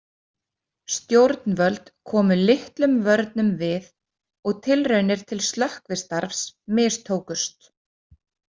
Stjórnvöld komu litlum vörnum við og tilraunir til slökkvistarfs mistókust.